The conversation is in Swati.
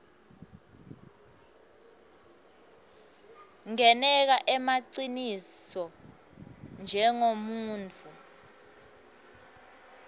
ngeneka emaciniso njengemuntfu